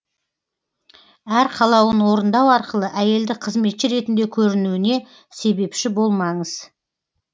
әр қалауын орындау арқылы әйелді қызметші ретінде көруіне себепші болмаңыз